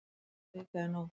Ein vika er nóg